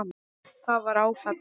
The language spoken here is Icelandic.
Það var áfall.